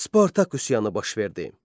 Spartak üsyanı baş verdi.